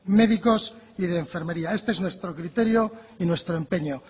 médicos y de enfermería este es nuestro criterio y nuestro empeño